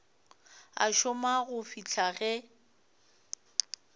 a šoma go fihla ge